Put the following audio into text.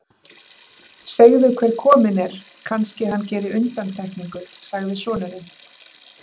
Segðu hver kominn er, kannski hann geri undantekningu, sagði sonurinn.